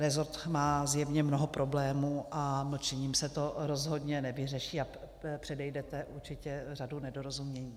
Rezort má zjevně mnoho problémů a mlčením se to rozhodně nevyřeší a předejdete určitě řadě nedorozumění.